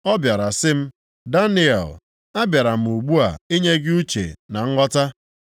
Ọ bịara sị m, “Daniel, a bịara m ugbu a inye gị uche na nghọta.